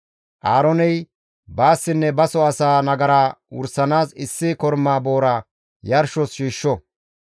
Aarooney baassinne baso asaa nagara wursanaas issi korma boora yarshos shiishsho.